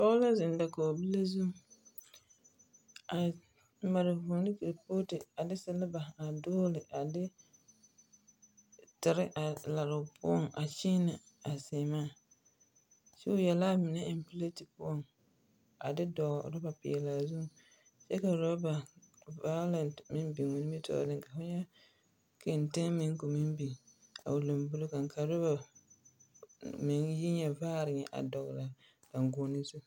Pɔge la zeŋ dakogibile zuŋ a mare vũũ ne kerepooti a de seleba dogele a de tere a lare o poɔŋ a kyẽẽnɛ a seemaa. Kyɛ o ya la a mine eŋ pileti poɔŋ a de dɔgele oraba peɛlaa zuŋ kyɛ ka oraba vaolɛte meŋbiŋo nimtɔɔreŋ ka keteŋ meŋ ka o meŋ biŋ a o lambori kaŋa, ka oraba meŋ yi nyɛ vaare nyɛ dɔgele daŋgoɔne zu.